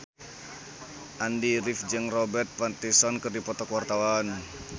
Andy rif jeung Robert Pattinson keur dipoto ku wartawan